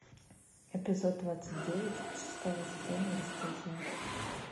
эпизод двадцать девять шестого сезона бесстыжие